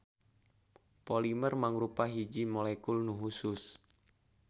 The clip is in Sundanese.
Polimer mangrupa hiji wujud molekul nu husus.